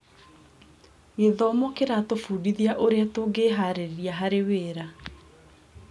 Gĩthomo kĩratũbundithia ũrĩa tũngĩĩharĩrĩria harĩ wĩra.